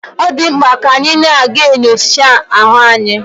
Odimkpa di ka anyi na aga enyocha ahu anyi